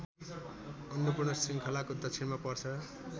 अन्नपूर्ण श्रृङ्खलाको दक्षिणमा पर्छ